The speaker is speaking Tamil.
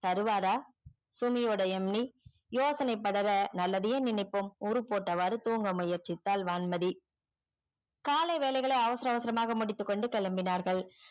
தருவாரா சுமதி ஓட MD யோசனை படற நல்லதே நினைப்போம் ஊர் போட்டவாறு தூங்க முயற்ச்சித்தால் வான்மதி காலை வேலைகளே அவசர அவசரமா முடித்து கொண்டு கேளம்பினார்கள்